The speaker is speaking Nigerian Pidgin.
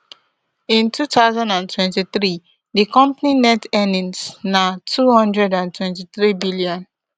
in two thousand and twenty-three di company net earnings na two hundred and twenty-threebn